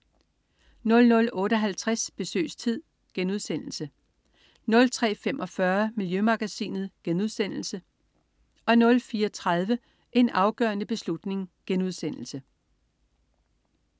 00.58 Besøgstid* 03.45 Miljømagasinet* 04.30 En afgørende beslutning*